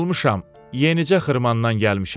Yorulmuşam, yenicə xırmandan gəlmişəm.